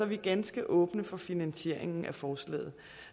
vi ganske åbne for finansieringen af forslaget